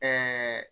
Ɛɛ